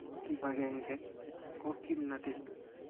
Kibagenge ko kimnatet.